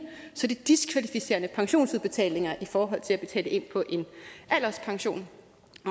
så er det diskvalificerende pensionsudbetalinger i forhold til at betale ind på en alderspension